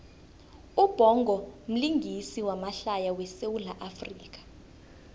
ubhongo mlingisi wamahlaya we sawula afrika